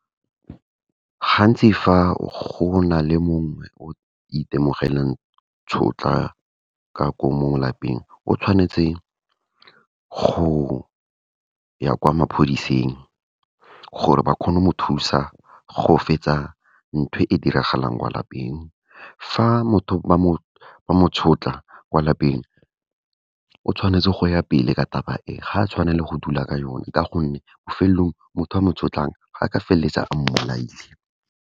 Gantsi fa go na le mongwe o itemogelang tshotlakako mo lapeng, o tshwanetse go ya kwa maphodiseng gore ba kgone go mo thusa go fetsa nthwe e diragalang kwa lapeng. Fa motho ba mo sotla kwa lapeng, o tshwanetse go ya pele ka taba e, ga a tshwanela go dula ka yone, ka gonne bofelelong motho a mo sotlang, a ka feleletsa a mmolaile.